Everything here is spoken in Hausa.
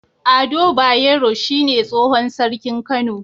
Ado bayero shine tsohon sarkin kano